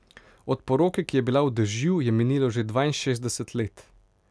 Od poroke, ki je bila v dežju, je minilo že dvainšestdeset let.